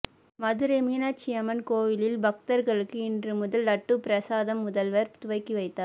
மதுரை மீனாட்சியம்மன் கோயிலில் பக்தர்களுக்கு இன்று முதல் லட்டு பிரசாதம் முதல்வர் துவக்கி வைத்தார்